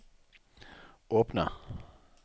åpne